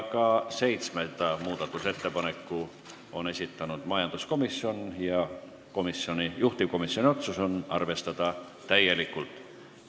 Ka seitsmenda muudatusettepaneku on esitanud majanduskomisjon ja juhtivkomisjoni otsus on arvestada täielikult.